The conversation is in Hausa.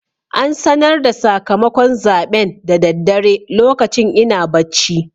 An sanar da sakamakon zaɓen da daddare lokacin ina bacci.